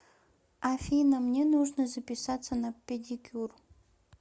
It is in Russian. афина мне нужно записаться на педикюр